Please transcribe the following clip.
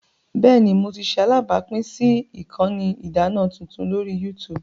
Bẹẹni, Mo ti ṣe alabapin si ikanni idana tuntun lori YouTube.